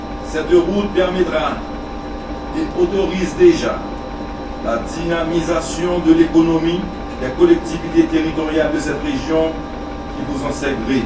Cette route permettra et autorise déjà la dynamisation de l'économie des collectivités territoriales de cette région qui vous en sait